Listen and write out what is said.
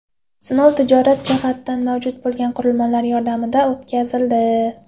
Sinov tijorat jihatdan mavjud bo‘lgan qurilmalar yordamida o‘tkazildi.